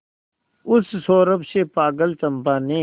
उस सौरभ से पागल चंपा ने